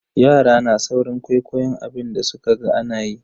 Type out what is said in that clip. Yara na saurin kwaikwayon abin da sukaga anayi.